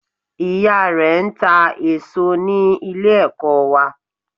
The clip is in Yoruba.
Ìyá rẹ n ta èsó ní Ilé ẹ̀kọ́ wa